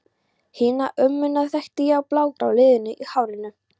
Hina ömmuna þekkti ég á blágráu liðunum í hárinu.